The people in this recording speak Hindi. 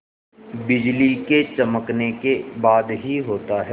बिजली के चमकने के बाद ही होता है